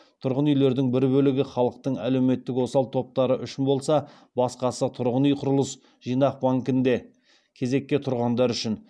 тұрғын үйлердің бір бөлігі халықтың әлеуметтік осал топтары үшін болса басқасы тұрғын үй құрылыс жинақ банкінде кезекке тұрғандар үшін